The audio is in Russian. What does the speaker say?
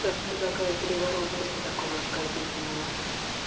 так предлагаю переворот после такого оскорбительного